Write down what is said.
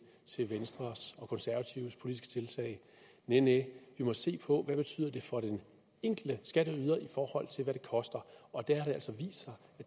til venstres og konservatives politiske tiltag næh vi må se på hvad det betyder for den enkelte skatteyder i forhold til hvad det koster og der har